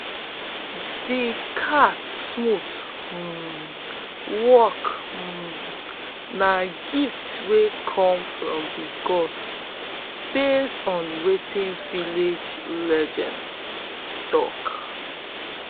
de cat smooth um walk um na gift wey come from de gods base on wetin village legends talk